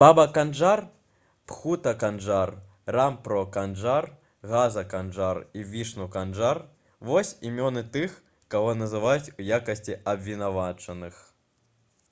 баба канджар бхута канджар рампро канджар газа канджар і вішну канджар вось імёны тых каго называюць у якасці абвінавачаных